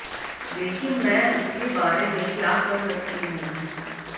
लेकिन मैं उसके बारे में क्या कर सकती हूं